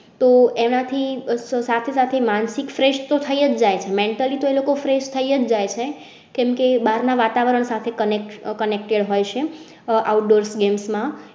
તો એનાથી સાથે સાથે માનસિક fresh થઈ જાય mentally તો એલોકો fresh થાયી જ જાય. કેમ કે બહાર ના વાતાવરણ સાથે connect connected હોય છે outdoor games માં